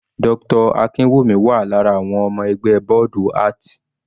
Dr. Akinwumi wà lára àwọn ọmọ ẹgbẹ́ bọ́ọ̀dù art.